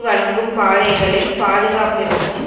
வழங்கும் பாதைகளின் பாதுகாப்பிற்கும்